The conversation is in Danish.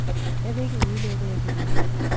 Jeg vil ikke udelukke, at jeg kan vinde.